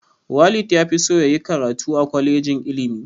Walid ya fi so ya yi karatu a kwalejin ilimi